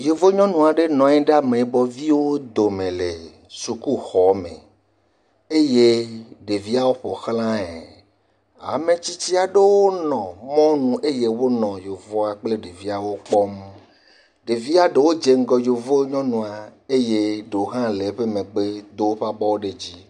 Yevu nyɔnu aɖe nɔ anyi ɖe ameyibɔviwo dome le sukuxɔ me eye ɖeviawo ƒo xlae, ametsitsi aɖewo nɔ mɔnu eye wonɔ yevua kple ɖeviawo kpɔm, ɖevia ɖewo dze ŋgɔ yevu nyɔnua eye ɖewo hã le eƒe megbe wodo woƒe abɔwo ɖe edzi